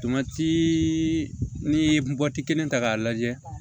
n'i ye mɔti kelen ta k'a lajɛ